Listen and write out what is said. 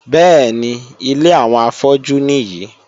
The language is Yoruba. Bẹ́ẹ̀ni, ilé àwọn afọ́jú nìyí.